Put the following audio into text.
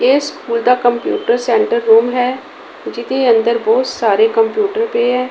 ਇਸ ਸਕੂਲ ਦਾ computer centre room ਹੈ ਜਿਹਦੇ ਅੰਦਰ ਬਹੁਤ ਸਾਰੇ ਕੰਪਿਊਟਰ ਪੇ ਹੈ।